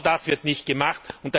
Genau das wird nicht gemacht.